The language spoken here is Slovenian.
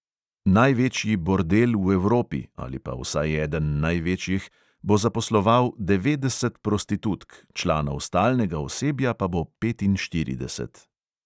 Največji bordel v evropi – ali pa vsaj eden največjih – bo zaposloval devetdeset prostitutk, članov stalnega osebja pa bo petinštirideset.